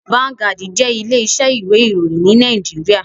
Vanguard jé ilé isẹ́ ìwé ìròyìn ní Naijiria